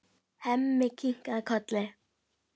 Hemmi kinkar kolli.